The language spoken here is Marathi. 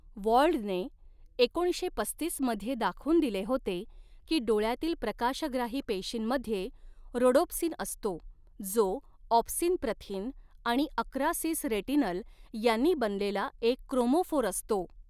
वॉल्डने एकोणीसशे पस्तीस मध्ये दाखवून दिले होते की डोळ्यातील प्रकाशग्राही पेशींमध्ये रोडोप्सिन असतो, जो ऑप्सिन प्रथिन आणि अकरा सिस रेटिनल यांनी बनलेला एक क्रोमोफोर असतो.